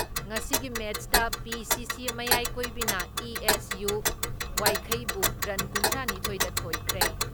ꯉꯁꯤꯒꯤ ꯃꯦꯠꯁꯇ ꯄꯤ.ꯁꯤ.ꯁꯤ ꯃꯌꯥꯏꯀꯣꯏꯕꯤꯅ ꯏ.ꯑꯦꯁ.ꯌꯨ. ꯋꯥꯏꯈꯩꯕꯨ ꯔꯟ ꯀꯨꯟꯊ꯭ꯔꯥ ꯅꯤꯊꯣꯏꯗ ꯊꯣꯏꯈ꯭ꯔꯦ ꯫